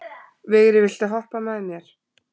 Vigri, viltu hoppa með mér?